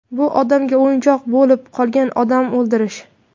Bu odamga o‘yinchoq bo‘lib qolgan odam o‘ldirish.